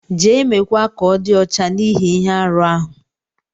Je, me kwa ka ọ di ọcha n'ihi ihe-árú ahu.